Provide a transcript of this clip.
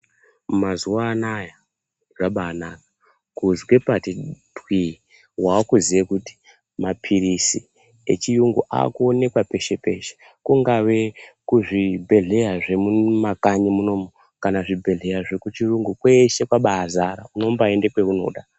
Mazuva anawa zvabanaka kuzwe pati twi wakuziye kuti mapirizi yechiyungu akuonekwa peshe peshe kungave kuzvibhedhlera zvemumakanyi munomu kana zvibhedhlera zvemuchirungu kwese Kwaba zara unobaenda kwaunoda.